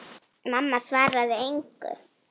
Mamma svaraði engu.